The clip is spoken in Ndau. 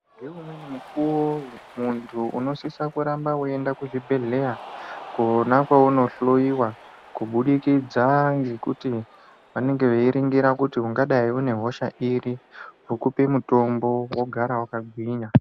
Ngeumweni mukuwo muntu unosisa kuramba weienda kuzvibhedhleya kwona kweunohloiwa kubudikidza ngekuti vanenge veiringira kuti ungadai une hosha iri vokupe mutombo wogara wakagwinya.